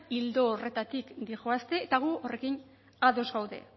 ildo horretatik doazte eta gu horrekin ados gaude